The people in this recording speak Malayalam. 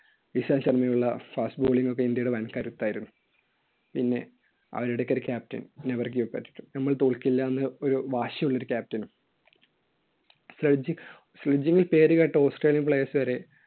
വിശാൽ ശർമ്മയുള്ള fast bowling ഒക്കെ ഇന്ത്യയുടെ വൻകരുത്തായിരുന്നു. പിന്നെ ആയിടയ്‌ക്കൊക്കെ captain never give up നമ്മൾ തോൽക്കില്ല എന്ന് ഒരു വാശിയുള്ള ഒരു captain surgic~ surging ല്‍ പേരുകേട്ട Australian players വരെ